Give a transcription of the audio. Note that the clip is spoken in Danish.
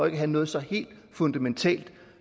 at have noget så helt fundamentalt